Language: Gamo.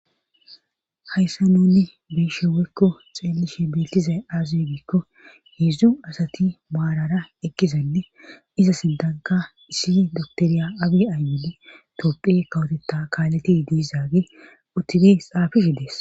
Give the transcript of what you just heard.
hayssa nunni be'ishe woykko xeelishe bettizay aaze gikko heedzdzu asati maarara ekkizanne iza sindanka issi doktoriya abie ayyene topphe kawotetta kaaleti diizaage uttidi xaafish dees